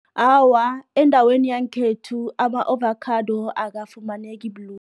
Awa, endaweni yankhethu, ama-ovacado akafumaneki lula.